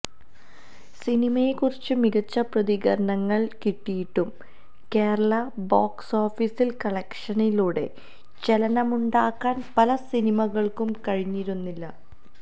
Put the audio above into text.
സിനിമയെ കുറിച്ച് മികച്ച പ്രതികരണങ്ങള് കിട്ടിയിട്ടും കേരള ബോക്സ് ഓഫീസില് കളക്ഷനിലൂടെ ചലനമുണ്ടാക്കാന് പല സിനിമകള്ക്കും കഴിഞ്ഞിരുന്നില്ല